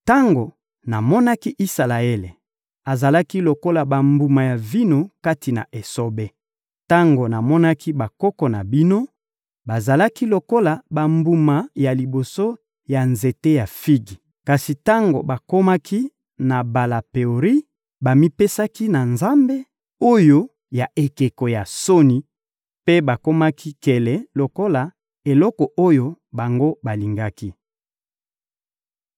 Tango namonaki Isalaele, azalaki lokola bambuma ya vino kati na esobe. Tango namonaki bakoko na bino, bazalaki lokola bambuma ya liboso ya nzete ya figi. Kasi tango bakomaki na Bala Peori, bamipesaki na nzambe oyo ya ekeko ya soni mpe bakomaki nkele lokola eloko oyo bango balingaki.